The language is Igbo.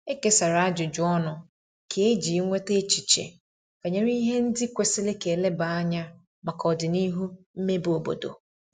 E kesara ajụjụ ọnụ kà eji nweta echiche banyere ihe ndi kwesiri ka eleba anya maka odinihu mmebe obodo